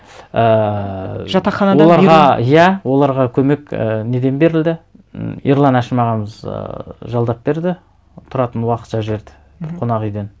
ііі жатақханадан беру оларға иә оларға көмек ііі неден берілді м ерлан әшім ағамыз ыыы жалдап берді тұратын уақытша жерді мхм бір қонақ үйден